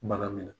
Bana min